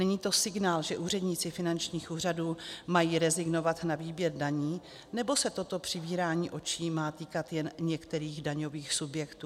Není to signál, že úředníci finančních úřadů mají rezignovat na výběr daní nebo se toto přivírání očí má týkat jen některých daňových subjektů?